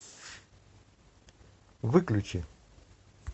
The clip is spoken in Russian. выключи